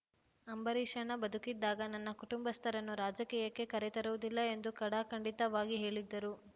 ಅಂಬರೀಷಣ್ಣ ಬದುಕಿದ್ದಾಗ ನನ್ನ ಕುಟುಂಬಸ್ಥರನ್ನು ರಾಜಕೀಯಕ್ಕೆ ಕರೆತರುವುದಿಲ್ಲ ಎಂದು ಖಡಾಖಂಡಿತವಾಗಿ ಹೇಳಿದ್ದರು